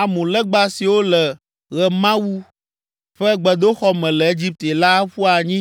Amu legba siwo le Ɣemawu ƒe gbedoxɔ me le Egipte la aƒu anyi